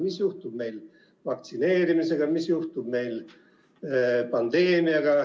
Mis juhtub vaktsineerimisega, mis juhtub pandeemiaga?